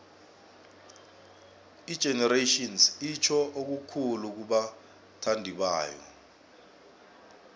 igenerations itjho okukhulu kubathandibayo